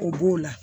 O b'o la